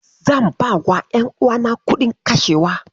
Zan bawa ƴanuwana kuɗin kashewa.